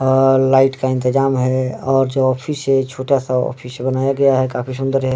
और लाइट का इंतजाम है और जो ऑफिस है छोटा सा ऑफिस बनाया गया है काफी सुन्दर है।